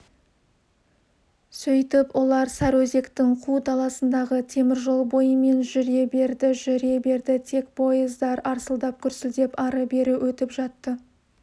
сөйтіп олар сарыөзектің қу даласындағы теміржол бойымен жүре берді жүре берді тек пойыздар арсылдап-гүрсілдеп ары-бері өтіп жатты